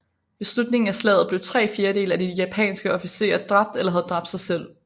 Ved slutningen af slaget blev tre fjerdedele af de japanske officerer dræbt eller havde dræbt sig selv